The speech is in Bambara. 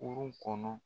Kurun kɔnɔ